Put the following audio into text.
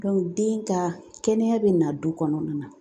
den ka kɛnɛya bɛ na du kɔnɔna na .